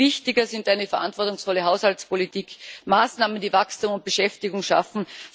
Viel wichtiger sind eine verantwortungsvolle Haushaltspolitik, Maßnahmen, die Wachstum und Beschäftigung schaffen.